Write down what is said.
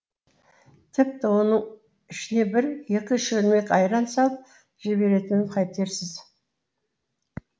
тіпті оның ішіне бір екі шөлмек айран салып жіберетінін қайтерсіз